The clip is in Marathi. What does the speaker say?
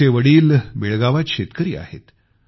त्यांचे वडील बेळगावात शेतकरी आहेत